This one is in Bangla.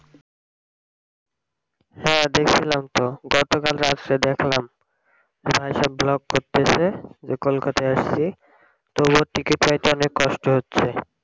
হ্যাঁ দেকসিলাম তো গতকাল রাত্রে দেখলাম সব vlog করতেসে যে কলকাতাই আসছি তবুও টিকিট পাইতে অনেক কষ্ট হচ্ছে